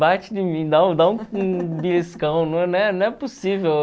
Bate em mim, dá um dá um beliscão, possível.